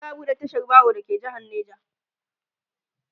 za'a buɗe tashar baro da ke jehar neja